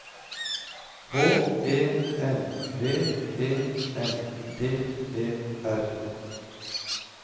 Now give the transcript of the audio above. H E N V E N D E R